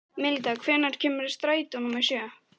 Milda, hvenær kemur strætó númer sjö?